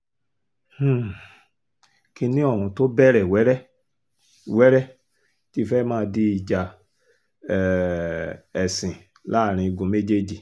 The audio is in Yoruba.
um kinni ohun tó bẹ̀rẹ̀ wẹ́rẹ́-wẹ́rẹ́ ti fẹ́ẹ́ máa di ìjà um ẹ̀sìn láàrin igun méjèèjì